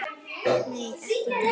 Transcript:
Nei, ekki í dag.